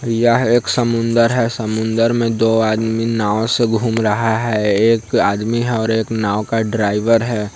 यह एक समुद्र है समुद्र में दो आदमी नाव स ह घूम रहा है एक आदमी है नाव का ड्राइवर है।